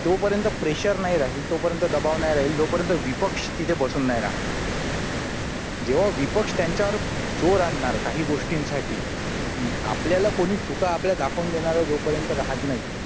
तोपर्यंत प्रेशर नाही राहील तोपर्यंत दबाव नाही राहील जोपर्यंत विपक्ष तिथे बसून नाही राहणार जेव्हा विपक्ष त्यांच्यावर जोर आणणार काही गोष्टींसाठी आपल्याला कोणी चुका आपल्या दाखवून देणारा जोपर्यंत राहत नाही